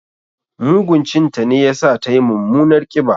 Mugun cin ta ne ya sa tayi mummunar ƙiba.